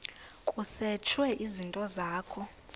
kusetshwe izinto zakho